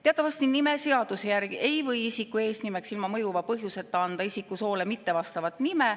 Teatavasti nimeseaduse järgi ei või isiku eesnimeks ilma mõjuva põhjuseta anda isiku soole mittevastavat nime.